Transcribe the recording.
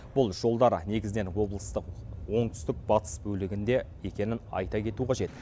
бұл жолдар негізінен облыстық оңтүстік батыс бөлігінде екенін айта кету қажет